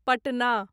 Patna